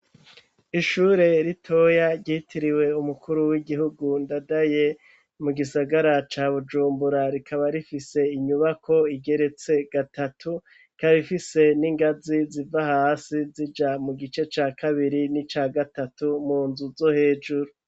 Ishure ritoya ryitiriwe umukuru w'igihugu ndadaye mu gisagara ca bujumbura rikaba rifise inyubako igeretse gatatu rikaba ifise n'ingazi ziva hasi zija mu gice ca kabiri n'ica gatatu mu nzu zo hejuru.